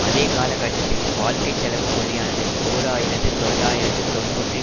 அதே காலகட்டத்தில் வாழ்க்கை செலவுப் புள்ளியானது ஓர் ஆயிரத்து தொள்ளாயிரத்து தொன்னூற்றி